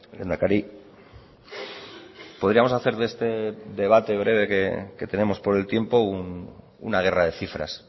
lehendakari podríamos hacer de este debate breve que tenemos por el tiempo una guerra de cifras